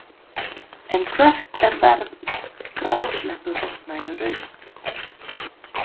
En hvert er verð grásleppuhrogna í raun?